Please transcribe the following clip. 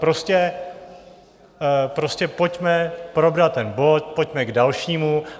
Prostě pojďme probrat ten bod, pojďme k dalšímu.